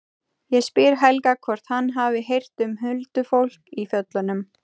Ég spyr Helga hvort hann hafi heyrt um huldufólk í fjöllunum.